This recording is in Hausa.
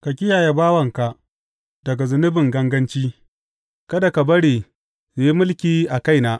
Ka kiyaye bawanka daga zunubin ganganci; kada ka bari su yi mulki a kaina.